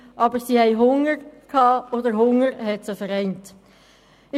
Aber sie hatten Hunger, und der Hunger vereinte sie.